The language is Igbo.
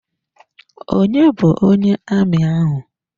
Onye bu onye amị ahụ?